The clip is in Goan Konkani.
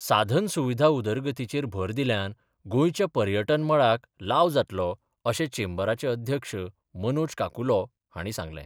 साधन सुविधा उदरगतीचेर भर दिल्ल्यान गोंयच्या पर्यटन मळाक लाव जातलो अशें चेंबराचे अध्यक्ष मनोज काकुलो हांणी सांगलें.